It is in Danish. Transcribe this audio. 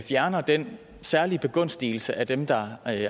fjerner den særlige begunstigelse af dem der